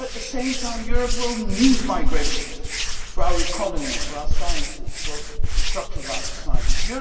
But at the same time, Europe will need migration for our economy, for our sciences, for the structure of our societies.